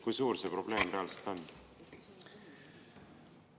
Kui suur see probleem reaalselt on?